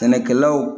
Sɛnɛkɛlaw